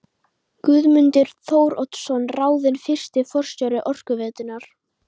Guðmundur Þóroddsson ráðinn fyrsti forstjóri Orkuveitunnar.